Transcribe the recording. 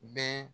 Bɛɛ